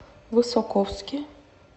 высоковске